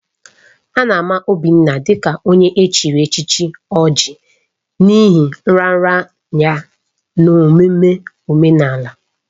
A na-ama Obinna dị ka onye echiri echichi Oji n'ihi nraranye ya n'omume omenala.